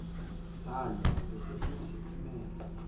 salwa ubesefuna siphumele